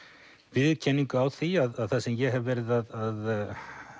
viðurkenningu á því að það sem ég hef verið að